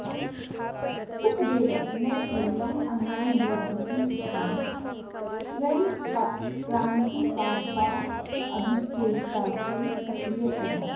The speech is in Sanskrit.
सुखदेवः न केवलम् अन्यान् बोधयति स्म स्वयं क्रान्तिकारकाभिचेष्टासु सक्रियः अभवत्